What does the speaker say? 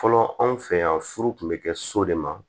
Fɔlɔ anw fɛ yan furu tun bɛ kɛ so de ma